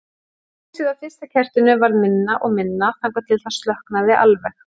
Ljósið á fyrsta kertinu varð minna og minna þangað til það slokknaði alveg.